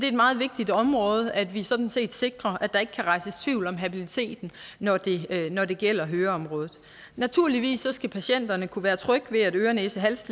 et meget vigtigt område at vi sådan set sikrer at der ikke kan rejses tvivl om habiliteten når det når det gælder høreområdet naturligvis skal patienterne kunne være trygge ved at øre næse hals